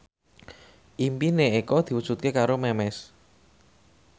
impine Eko diwujudke karo Memes